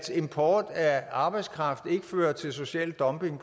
import af arbejdskraft ikke fører til social dumping